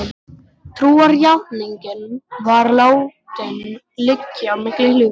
Trúarjátningin var látin liggja milli hluta.